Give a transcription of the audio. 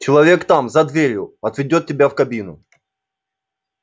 человек там за дверью отведёт тебя в кабину